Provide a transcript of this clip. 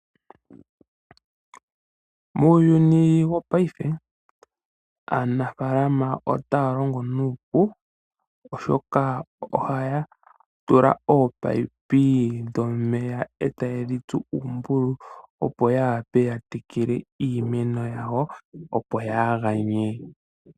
Muuyuni wo paife aanafalama otaya longo nuupu oshoka ohaya tula omino dhomeya eta ye dhitsu ombululu opo ya wape yatekele iinamwenyo yawo opo yaganye.